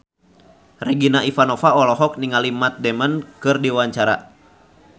Regina Ivanova olohok ningali Matt Damon keur diwawancara